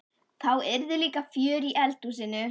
Þá yrði líka fjör í eldhúsinu!